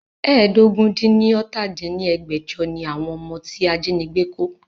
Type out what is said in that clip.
ẹ́ẹdógún-dín-ní-ọ́ta dín ní ẹgbẹ́jọ ni àwọn ọmọ tí ajínigbé kó